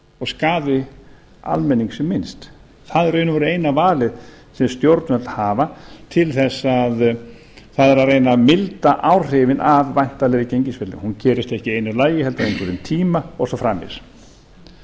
og skaði almenning sem minnst það er í raun og veru eina valið sem stjórnvöld hafa til þess það er að reyna að milda áhrifin af væntanlegri gengisfellingu hún gerist ekki í einu lagi heldur á einhverjum tíma og svo framvegis